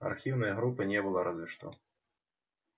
архивной группы не было разве что